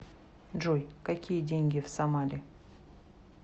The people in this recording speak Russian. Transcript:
джой какие деньги в сомали